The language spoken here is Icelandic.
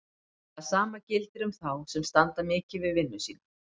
Það sama gildir um þá sem standa mikið við vinnu sína.